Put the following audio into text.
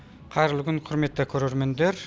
қайырлы күн құрметті көрермендер